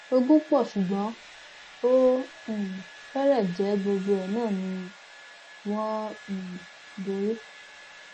ogun pọ ṣùgbọn ó um fẹrẹ jẹ gbogbo ẹ náà ni wọn um ń borí